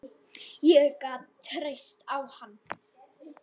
Ég gat treyst á hann.